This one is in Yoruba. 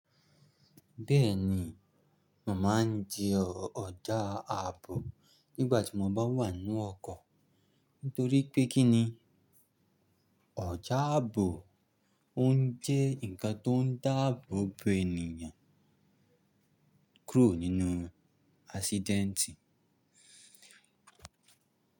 Bẹ́ẹ̀ni, màá ń di ọjà ààbò nígbàtí mọ bá wà nu ọkọ̀. Torí pé kíni? Ọjà ààbò ó ń jẹ́ ǹkan tó ń dáàbò bo ènìyàn kúrò nínú ásídẹ́ntì.